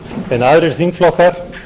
en aðrir þingflokkar